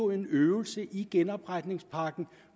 en øvelse i genopretningspakken